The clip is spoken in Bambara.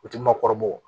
U ti maakɔrɔbaw